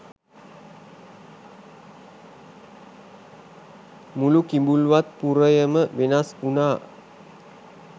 මුළු කිඹුල්වත් පුරයම වෙනස් වුනා.